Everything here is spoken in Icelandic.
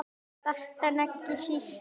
Síðast en ekki síst.